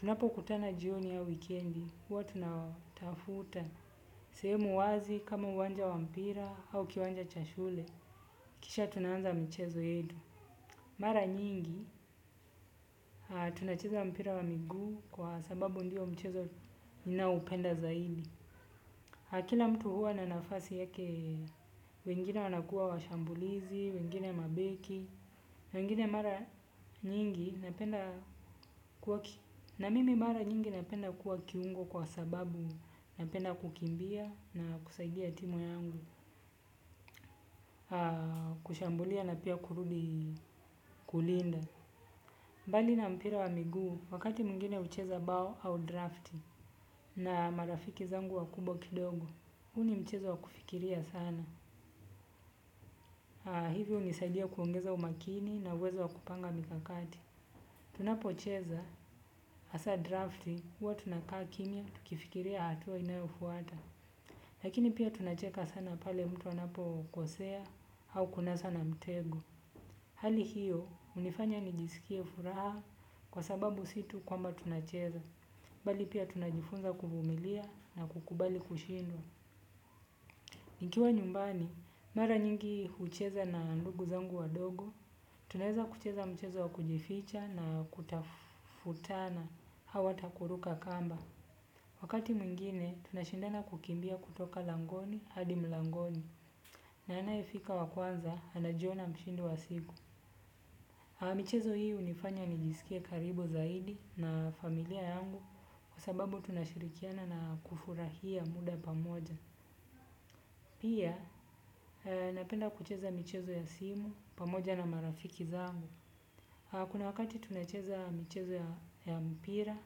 Tunapokutana jioni au weekendi, huwa tunatafuta. Sehemu wazi kama uwanja wa mpira au kiwanja cha shule. Kisha tunaanza mchezo yetuu. Mara nyingi, tunacheza mpira wa miguu kwa sababu ndio mchezo ninaoupenda zaidi. Kila mtu huwa na nafasi yake, wengine wanakuwa washambulizi, wengine mabeki, wengine mara nyingi napenda kuwa, na mimi mara nyingi napenda kuwa kiungo kwa sababu napenda kukimbia na kusaidia timu yangu, kushambulia na pia kurudi kulinda. Mbali na mpira wa miguu, wakati mwngine hucheza ubao au drafti na marafiki zangu wakubwa kidogo. Huu ni mchezo wa kufikiria sana. Hivyo hunisaidia kuongeza umakini na uwezo wa kupanga mikakati. Tunapocheza, hasa drafti huwa tunakaa kimya tukifikiria hatua inayofuata. Lakini pia tunacheka sana pale mtu anapokosea au kunaswa na mtego. Hali hiyo, hunifanya nijisikie furaha kwa sababu si tu kwamba tunacheza. Bali pia tunajifunza kuvumilia na kukubali kushindwa. Nikiwa nyumbani, mara nyingi hucheza na ndugu zangu wadogo, tunaweza kucheza mchezo wa kujificha na kutafutana, au hata kuruka kamba. Wakati mwingine, tunashindana kukimbia kutoka langoni hadi mlangoni, na anayefika wa kwanza, anajiona mshindi wa siku. Michezo hii hunifanya nijisikie karibu zaidi na familia yangu. Kwa sababu tunashirikiana na kufurahia muda pamoja pia napenda kucheza michezo ya simu pamoja na marafiki zangu. Kuna wakati tunacheza michezo ya mpira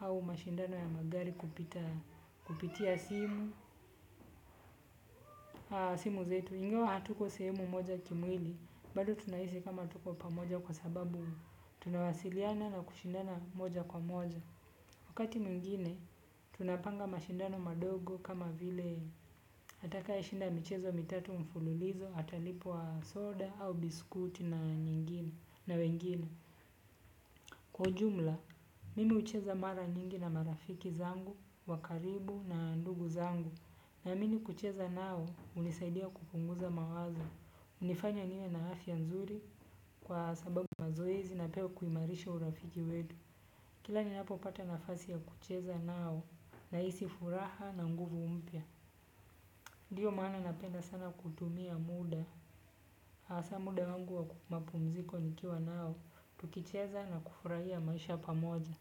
au mashindano ya magari kupitia simu. Simu zetu ingawa hatuko sehemu moja kimwili bado tunahisi kama tuko pamoja kwa sababu tunawasiliana na kushindana moja kwa moja. Wakati mwingine, tunapanga mashindano madogo kama vile atakaye shinda michezo mitatu mfululizo, atalipwa soda au biskuti na wengine. Kwa ujumla, mimi hucheza mara nyingi na marafiki zangu wa karibu na ndugu zangu. Naamini kucheza nao hunisaidia kupunguza mawazo hunifanya nime na afya nzuri kwa sababu mazoezi na pia kuimarisha urafiki wetu. Kila ninapopata nafasi ya kucheza nao nahisi furaha na nguvu mpya. Ndio maana napenda sana kutumia muda. Hasa muda wangu wa mapumziko nikiwa nao. Tukicheza na kufurahia maisha pamoja.